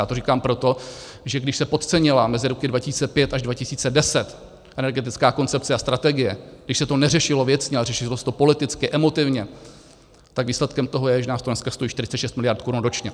Já to říkám proto, že když se podcenila mezi roky 2005 až 2010 energetická koncepce a strategie, když se to neřešilo věcně, ale řešilo se to politicky, emotivně, tak výsledkem toho je, že nás to dnes stojí 46 miliard korun ročně.